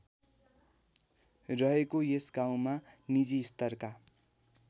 रहेको यस गाउँमा निजीस्तरका